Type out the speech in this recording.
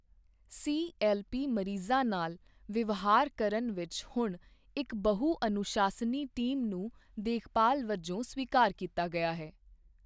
CLP ਮਰੀਜ਼ਾਂ ਨਾਲ ਵਿਵਹਾਰ ਕਰਨ ਵਿੱਚ ਹੁਣ ਇੱਕ ਬਹੁ ਅਨੁਸ਼ਾਸਨੀ ਟੀਮ ਨੂੰ ਦੇਖਭਾਲ਼ ਵਜੋਂ ਸਵੀਕਾਰ ਕੀਤਾ ਗਿਆ ਹੈ।